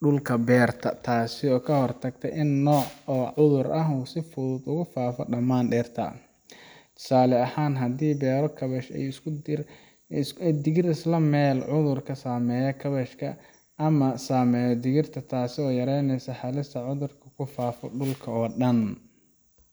dhulka beerta, taasoo ka hortagta in hal nooc oo cudur ah uu si fudud ugu faafo dhammaan dhirta. Tusaale ahaan, haddii la beero kaabash iyo digir isla meel, cudurka saameeya kaabashka ma saameynayo digirta, taasoo yaraynaysa halista in cudurku ku faafo dhulka oo dhan.